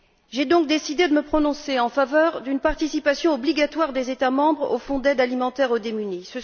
J'ai donc décidé de me prononcer en faveur d'une participation obligatoire des États membres au Fonds d'aide alimentaire aux plus démunis.